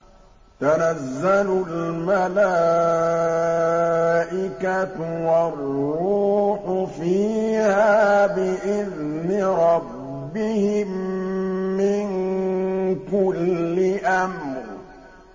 تَنَزَّلُ الْمَلَائِكَةُ وَالرُّوحُ فِيهَا بِإِذْنِ رَبِّهِم مِّن كُلِّ أَمْرٍ